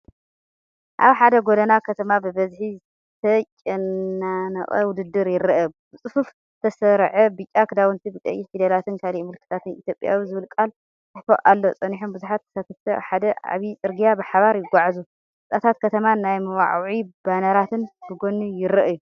ኣብ ሓደ ጎደና ከተማ ብብዝሒ ዝተጨናነቐ ውድድር ይረአ፤ ብጽፉፍ ዝተሰርዐ ብጫ ክዳውንቲ ብቀይሕ ፊደላትን ካልእ ምልክታትን 'ኢትዮጵያዊ' ዝብል ቃል ተጻሒፉ ኣሎ። ጸኒሖም ብዙሓት ተሳተፍቲ ኣብ ሓደ ዓቢ ጽርግያ ብሓባር ይግዕዙ፤ ህንጻታት ከተማን ናይ መወዓውዒ ባነራትን ብጎኒ ይረኣዩ።